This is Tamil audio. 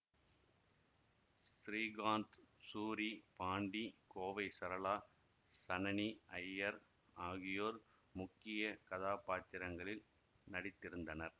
ஸ்ரீகாந்த் சூரி பாண்டி கோவை சரளா சனனி ஐயர் ஆகியோர் முக்கிய கதாப்பாத்திரத்திங்களில் நடித்திருந்தனர்